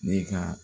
Ne ka